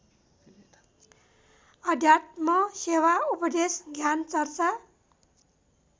अध्यात्मसेवा उपदेश ज्ञानचर्चा